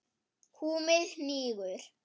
Húmið hnígur.